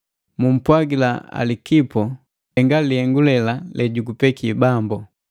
Mumpwagila Alikipo, “Henga lihengu lela lejugupeki Bambu.”